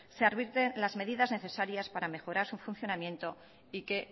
se arbitren las medidas necesarias para mejorar su funcionamiento y que